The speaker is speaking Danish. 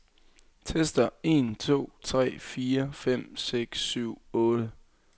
Tester en to tre fire fem seks syv otte.